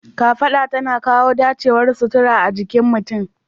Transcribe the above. Kafaɗa tana kawo dacewar sutura a jikin mutum.